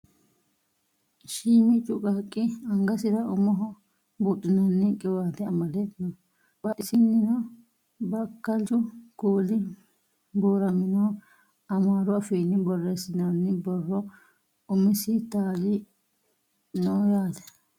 Shiimiccu qaaqqi angasira umoho budhiinanni qiwaate amade no. Badhidisino bakkalchu kuuli buuraminoho. Amaaru afiinni borreessinoyi borro umisi taali noo yaate.